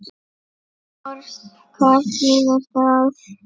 Tors. hvað þýðir það?